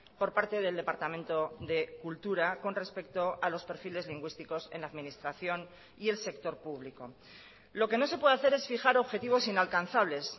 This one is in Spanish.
por parte del departamento de cultura con respecto a los perfiles lingüísticos en la administración y el sector público lo que no se puede hacer es fijar objetivos inalcanzables